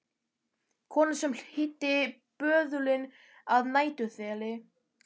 Konan sem hýddi böðulinn að næturþeli.